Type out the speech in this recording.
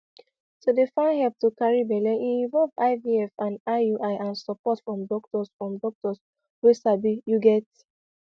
to dey find help to carry belle e involve ivf and iui and support from doctors from doctors wey sabi you get